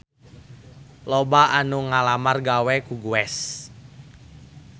Loba anu ngalamar gawe ka Guess